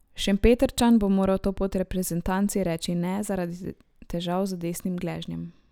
Šempetrčan bo moral to pot reprezentanci reči ne zaradi težav z desnim gležnjem.